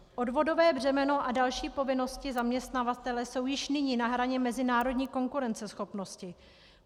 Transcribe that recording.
Odvodové břemeno a další povinnosti zaměstnavatele jsou již nyní na hraně mezinárodní konkurenceschopnosti.